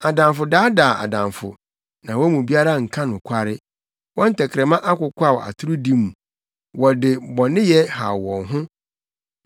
Adamfo daadaa adamfo, na wɔn mu biara nka nokware. Wɔn tɛkrɛma akokwaw atorodi mu, wɔde bɔneyɛ haw wɔn ho.